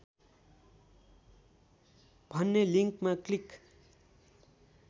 भन्ने लिङ्कमा क्लिक